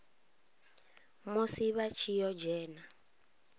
musi vha tshi ḓo dzhena